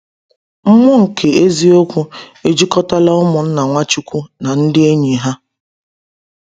“Mmụọ nke eziokwu” ejikọtala ụmụnna Nwachukwu na ndị enyi ha.